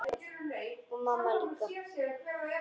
Já, og mamma líka.